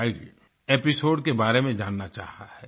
wild episode के बारे में जानना चाहा है